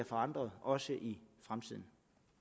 forandres også i fremtiden